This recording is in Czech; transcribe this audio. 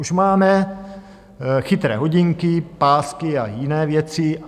Už máme chytré hodinky, pásky a jiné věci.